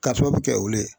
Ka sababu kɛ olu ye